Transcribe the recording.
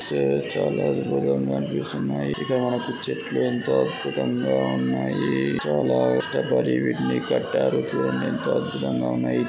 ఇక్కడ చూస్తే చాలా దూరంగా కనిపిస్తున్నాయి. ఇక్కడ మనకి చెట్లు ఎంత అద్భుతంగా ఉన్నాయి. చాలా కష్టపడి వీటిని కట్టడిచే--